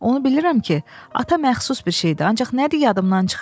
Onu bilirəm ki, ata məxsus bir şeydir, ancaq nədir yadımdan çıxıb.